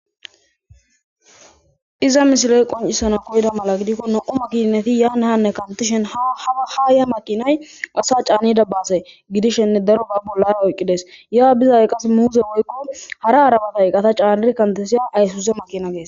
Iza misiley qoncisana koyda mala gidikko na7oma kineti yaanahanne kantishen aha ya makinay asa caanida baase gidishenne daro ba bollara oyqqides yaa bizay qas muuze woykko hara arabatay qata caair kantesiya aysuse makina gees.